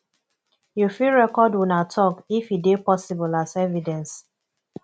you fit record una talk if e de possible as evidence